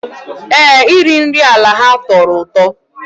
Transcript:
Ee, iri nri ala ha tọrọ ụtọ